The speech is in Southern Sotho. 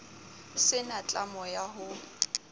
se na tlamo ya ho